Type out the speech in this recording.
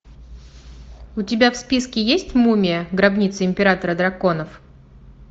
у тебя в списке есть мумия гробница императора драконов